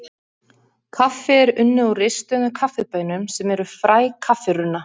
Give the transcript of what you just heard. Kaffi er unnið úr ristuðum kaffibaunum sem eru fræ kaffirunna.